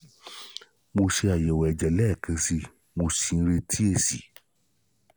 mo ṣe àyẹ̀wò ẹ̀jẹ̀ ni ẹ̀kan sí i mo sì ń retí èsì